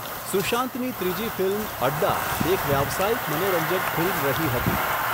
સુશાંતની ત્રીજી ફિલ્મ 'અડ્ડા' એક વ્યવસાયીક મનોરંજક ફિલ્મ રહી હતી.